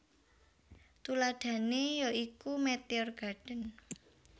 Tuladhané ya iku Meteor Garden